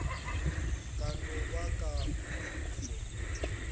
ka no ba ka khwetšo